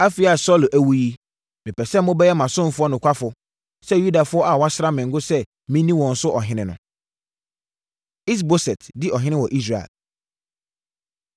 Afei a Saulo awu yi, mepɛ sɛ mobɛyɛ mʼasomfoɔ nokwafoɔ sɛ Yudafoɔ a wɔasra me ngo sɛ menni wɔn so ɔhene no.” Is-Boset Di Ɔhene Wɔ Israel